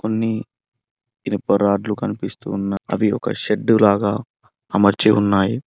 కొన్ని ఇనుప రాడ్లు కనిపిస్తు ఉన్న అది ఒక షెడ్డు లాగా అమర్చి ఉన్నాయి.